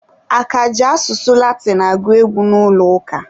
A ka ji asụsụ Latinụ agụ egwu n'ụlọ ụka?